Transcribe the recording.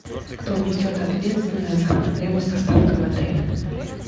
кто несет ответственность за проблемы с доставкой в отеле